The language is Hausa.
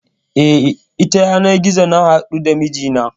E, ta yanar gizo na haɗu da mijina.